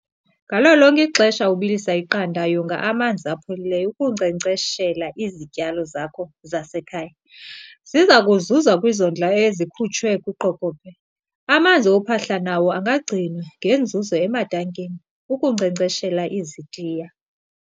Ngalo lonke ixesha ubilisa iqanda, yonga amanzi apholileyo ukunkcenkceshela izityalo zakho zasekhaya. Ziza kuzuza kwizondlo ezikhutshwe kwiqokobhe. Amanzi ophahla nawo angagcinwa ngenzuzo ematankini, ukunkcenkceshela izitiya.